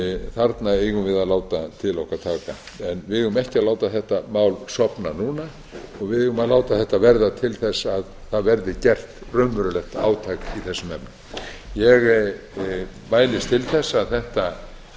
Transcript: þarna eigum við að láta til okkar taka við eigum ekki að láta þetta mál sofna núna við eigum að láta þetta verða til þess að það verði gert raunverulegt átak í þessum efnum ég mælist til þess að þetta